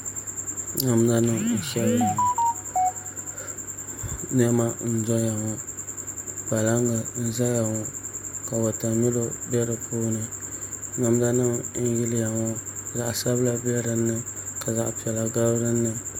Namda nim n shɛbiya ŋɔ niɛma n doya ŋɔ kpalaŋ n ʒɛya ŋɔ ka wotamilo bɛ di puuni namda nim n yiliya ŋɔ zaɣ sabila bɛ dinni ka zaɣ piɛla gabi dinni